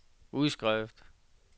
udskrift